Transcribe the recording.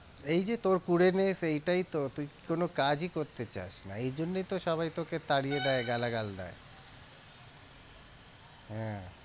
এই যে তোর কুরে ness এইটাই তো, তুই কোনো কাজই করতে চাস না, এই জন্যই তো সবাই তোকে তাড়িয়ে দেয় গালাগাল দেয় হ্যাঁ